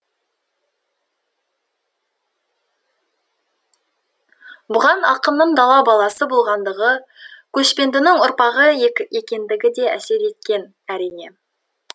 бұған ақынның дала баласы болғандығы көшпендінің ұрпағы екендігі де әсер еткен әрине